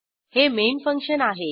हे main function आहे